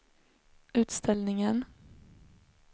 utställningen